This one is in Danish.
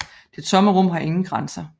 Det tomme rum har ingen grænser